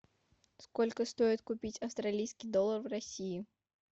сколько стоит купить австралийский доллар в россии